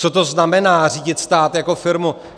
Co to znamená řídit stát jako firmu?